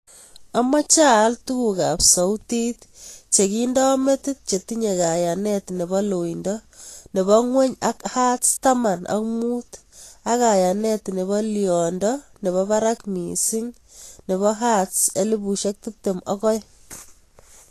Amache aal tuguk ab sautit cheginda metit chetinye kayanet nebo loindo nebo ng'weny ak hertz taman ak muut ak kayanet nebo liondo nebo barak mising nebo hertz elipushek tiptem ak aeng